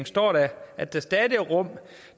står der at der stadig er rum